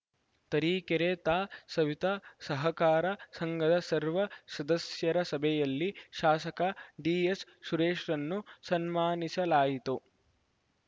ತರೀಕೆರೆ ತಾ ಸವಿತಾ ಸಹಕಾರ ಸಂಘದ ಸರ್ವ ಸದಸ್ಯರ ಸಭೆಯಲ್ಲಿ ಶಾಸಕ ಡಿಎಸ್‌ ಸುರೇಶ್‌ರನ್ನು ಸನ್ಮಾನಿಸಲಾಯಿತು